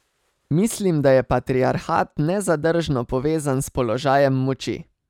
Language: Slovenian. Mislim, da je patriarhat nezadržno povezan z položajem moči.